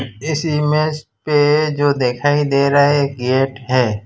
इस इमेज पे जो दिखाई दे रहा है गेट है।